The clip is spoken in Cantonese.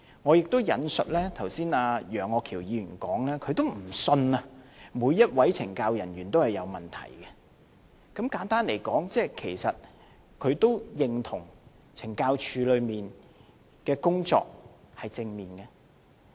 我亦引述楊岳橋議員剛才的發言，他也不相信每位懲教人員都有問題，簡單而言，其實他也認同懲教署的工作是正面的。